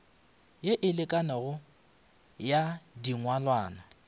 ye e lekanego ya dingwalwa